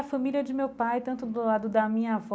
A família de meu pai, tanto do lado da minha avó.